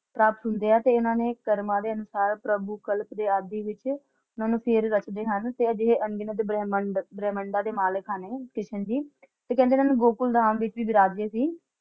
ਪ੍ਰਾਪਤ ਹੁੰਦੇ ਹਾਂ ਤੇ ਇੰਨਾ ਨੇ ਕਰਮਾ ਦੇ ਅਨੁਸਾਰ ਪ੍ਰਭੁਕਲਪ ਦੇ ਆਦਿ ਵਿਚ ਇੰਨਾ ਨੂੰ ਫਰ ਰੱਖਦੇ ਹਨ ਤੇ ਜੇ ਇਹ ਅਨਗਿਨਤ ਬ੍ਰਹਮੰਡ~ਬ੍ਰਹਮੰਡਾ ਹਨ ਇਹ ਕ੍ਰਿਸ਼ਨ ਜੀ ਤੇ ਕਹਿੰਦੇ ਇਹ ਗੋਕੁਲਧਾਮ ਵਿਚ ਵਿਰਾਜੇ ਸੀ ।